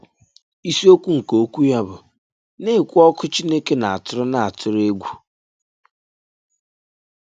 Ìsìokwu nke okwu ya bụ “Na-ekwù Ọ̀kụ̀ Chínèké n’Atùrụ n’Atùrụ Egwù.”